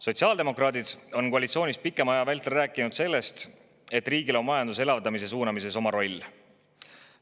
Sotsiaaldemokraadid on koalitsioonis pikema aja vältel rääkinud sellest, et riigil on majanduse elavdamise suunamises oma roll.